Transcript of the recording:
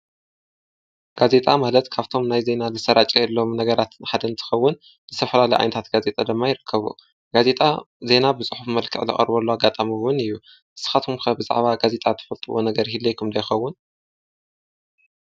ጋዜጣ ማለት ካብቶም ናይ ዜና ዝሰራጨየሎም ነገራት ንሓደ እንትኸውን ዝተፈላለ ዓይነታት ጋዜጣ ድማ ይርከቡ ። ጋዜጣ ዜና ብጽሑፍ መልክዕ ዝቐርበሉ ኣጋጣሚ እውን እዩ። ንስኻትኩም ብዛዕባ ጋዜጣ ትፈልጥዎ ነገር ይህልየኩም ዶ ይኸውን?